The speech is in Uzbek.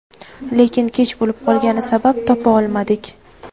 Lekin kech bo‘lib qolgani sabab topa olmadik.